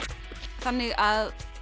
þannig að